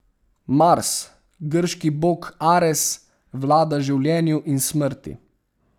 Mars, grški bog Ares, vlada življenju in smrti.